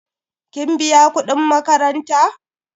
kin biya kudin makaranta?